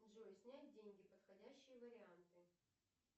джой снять деньги подходящие варианты